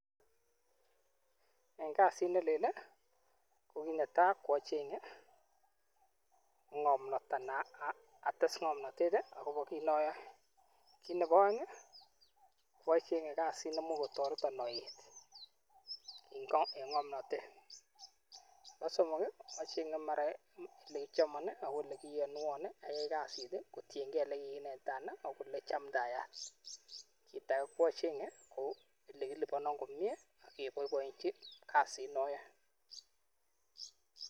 En kasit nelel ko netaa ko achenge ng'omnot anan ates ng'omnotet akobo kiit noyoe, kiit nebo oeng ocheng'e kasit nemuch kotoretin oet en ng'omnotet, nebo somok ocheng'e mara chekichomon ak ko elee kiyonwon ayai kasit kotieng'e elekikinetitan ak olee chamndayat, kiit akee ko achenge kouu elekilibonon komnye ak keboiboenchi kasit noyoe.